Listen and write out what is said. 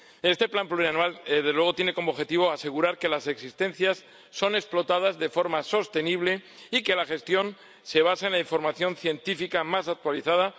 Este plan plurianual, desde luego, tiene como objetivo asegurar que las existencias son explotadas de forma sostenible y que la gestión se basa en la información científica más actualizada.